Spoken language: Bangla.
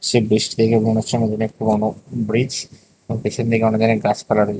সেই ব্রীজটি দেখে মনে হচ্ছে অনেক দিনের পুরোনো ব্রীজ এবং পিছন দিকে অনেক দিনের গাছপালা রয়ে--